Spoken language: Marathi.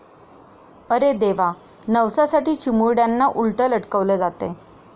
अरे देवा, नवसासाठी चिमुरड्यांना उलटं लटकवलं जातंय!